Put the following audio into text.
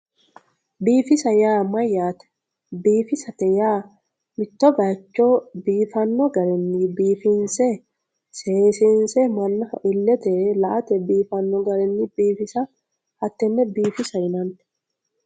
biifisa yaa mayyaate biifisate yaa mitto bayiicho biifanno garinni biifinse seesiinse mannaho illete la'ate baxisanno garinni biifisa hattenne biifisate yinanni.